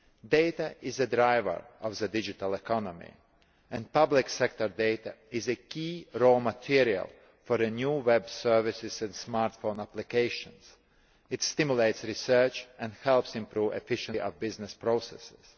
Data is the driver of the digital economy, and public sector data is a key raw material for new web services and smartphone applications. It stimulates research and helps improve the efficiency of business processes.